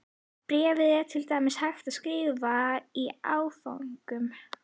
Bréfið er til dæmis hægt að skrifa í áföngum.